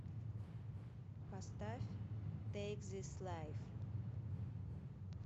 поставь тэйк зис лайф